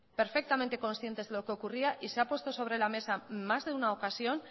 perfectamente conscientes de lo que ocurría y se ha puesto sobre la mesa en más de una ocasión